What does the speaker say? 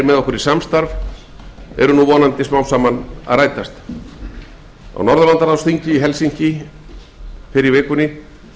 með okkur hafa ræst á norðurlandaráðsþingi sem fram fór í helsinki í finnlandi fyrr í vikunni